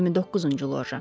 29-cu loja.